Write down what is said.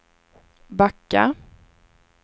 backa